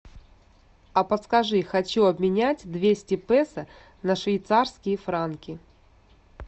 а подскажи хочу обменять двести песо на швейцарские франки